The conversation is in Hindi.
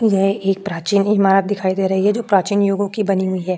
यह एक प्राचीन इमारत दिखाई दे रही है जो प्राचीन युगों की बनी हुई है।